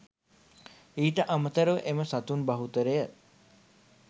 ඊට අමතරව එම සතුන් බහුතරය